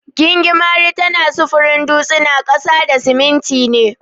Gingimari tana sufurin dutsina, ƙasa da siminti ne.